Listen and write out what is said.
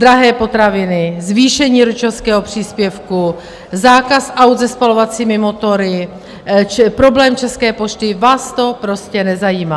Drahé potraviny, zvýšení rodičovského příspěvku, zákaz aut se spalovacími motory, problém České pošty, vás to prostě nezajímá.